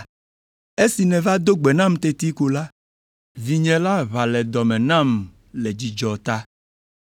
Esi nèva do gbe nam teti ko la, vinye la ʋã le dɔ me nam le dzidzɔ ta.